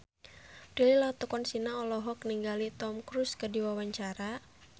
Prilly Latuconsina olohok ningali Tom Cruise keur diwawancara